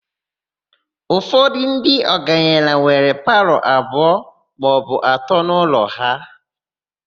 Ụfọdụ ndị ọgaranya nwere palọ abụọ maọbụ atọ n'ụlọ ha.